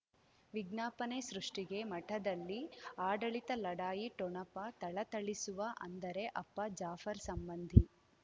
ವಿಜ್ಞಾಪನೆ ಸೃಷ್ಟಿಗೆ ಮಠದಲ್ಲಿ ಆಡಳಿತ ಲಢಾಯಿ ಠೊಣಪ ಥಳಥಳಿಸುವ ಅಂದರೆ ಅಪ್ಪ ಜಾಫರ್ ಸಂಬಂಧಿ